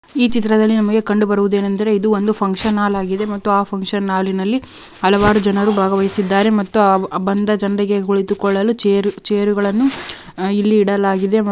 ಈ ಚಿತ್ರದಲ್ಲಿ ನಮಗೆ ಕಂಡು ಬರುವುದು ಏನೆಂದರೆ ಇದು ಒಂದು ಫುನ್ಕ್ಷನ್ ಹಾಲ್ ಆಗಿದೆ. ಮತ್ತೆ ಆ ಫುನ್ಕ್ಷನ್ ಹಾಲ್ ಇನಲ್ಲಿ ಹಲವಾರು ಜನರು ಭಾಗವಯಸಿದ್ದಾರೆ ಮತ್ತೆ ಅವ್ ಬಂದ ಜನ್ರಿಗೆ ಕುಳಿತಕೊಳ್ಳಲು ಚೇರು ಚೇರು ಗಳನ್ನೂ ಇಲ್ಲಿ ಇಡಲಾಗಿದೆ ವ--